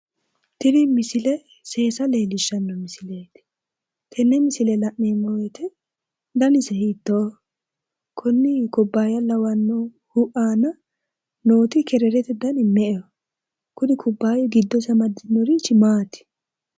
Tini misile seessa leellishshanno misileeti, tenne misile la'neemmo woyte danise hiittoho? konni kubbaya lawannohu aana nooti kererete dani me"eho? Kuni kubbayu giddosi amadinorichi maati?